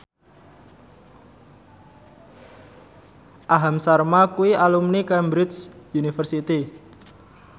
Aham Sharma kuwi alumni Cambridge University